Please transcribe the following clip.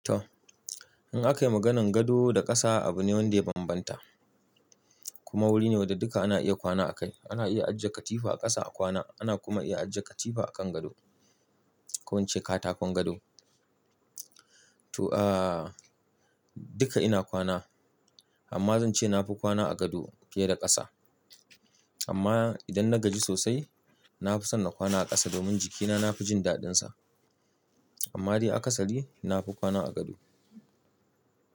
To, in akayi maganar gado da ƙasa abu ne wanda ya bambanta kuma wuri ne wanda duka ana iya kwana a kai. Ana iya ajiye katifa a ƙasa a kwana, ana kuma iya ajiye katifa a kan gado ko in ce katakon gado. To aah duka ina kwana amma zan ce nafi kwana a gado fiye da ƙasa. Amma idan na gaji sosai na fi son na kwana a ƙasa domin jiki na nafi jin daɗinsa. Amma dai a kasali nafi kwana a gado.